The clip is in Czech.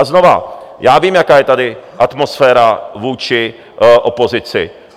A znovu, já vím, jaká je tady atmosféra vůči opozici.